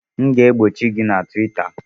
M ga-egbochi gị na Twita!